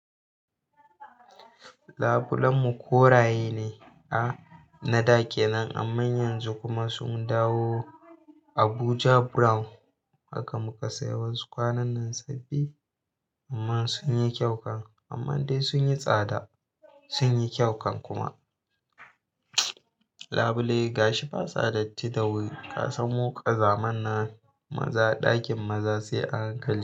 Labulenmu koraye ne a na da ke nan, amma yanzu kuma sun dawo Abuja Brown. Haka muka sayi wasu kwanan nan sabbi, amma sun yi kyau kan amma dai sun yi tsada, sun yi kyau kan kuma. Labule gashi ba sadatti da wuri ka san mu ƙazaman na maza ɗakin maza sai a hankali.